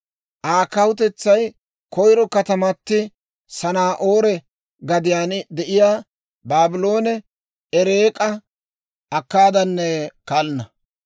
Aa kawutetsay koyro katamati Sanaa'oore gadiyaan de'iyaa Baabloone, Ereeka, Akkaadanne Kalnna.